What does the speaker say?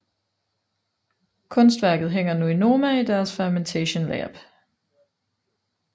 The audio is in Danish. Kunstværket hænger nu i Noma i deres Fermentation Lab